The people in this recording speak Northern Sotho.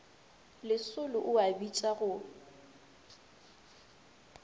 lesolo o a bitša go